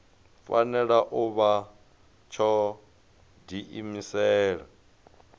fanela u vha tsho diimisela